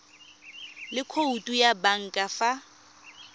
le khoutu ya banka fa